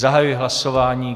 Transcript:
Zahajuji hlasování.